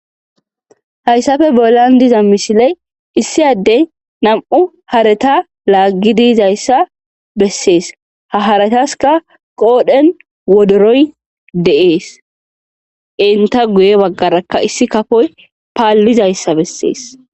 Hayssafe bolan diza mishiley issi addey nam,u harata laaggi diizayssa bessees ha harataska qoodhen wodoroy deees inta guye baggarakka issi kafoy paallizayssa bessees.